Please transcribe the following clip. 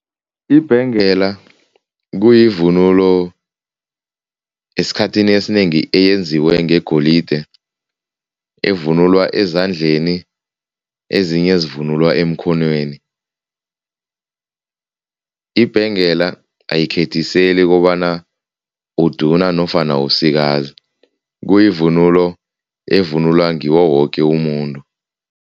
Ibhengela kuyivunulo esikhathini esinengi eyenziwe ngegolide, evunulwa ezandleni ezinye zivunulwa emkhonweni. Ibhengela ayikhethiseli kobana uduna nofana usikazi, kuyivunulo evunulwa ngiwo woke umuntu.